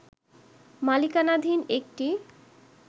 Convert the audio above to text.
মালিকানাধীন একটি